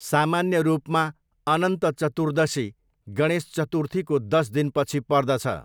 सामान्य रूपमा, अनन्त चतुर्दशी गणेश चतुर्थीको दस दिनपछि पर्दछ।